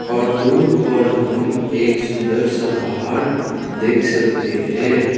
और दूर पर हम एक सुंदर सा पहाड़ देख सकते है।